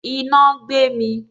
Iná gbé mi